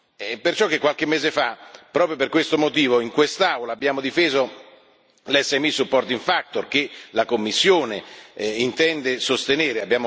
È per ciò che qualche mese fa, proprio per questo motivo, in quest'Aula abbiamo difeso l' SME supporting factor che la Commissione intende sostenere.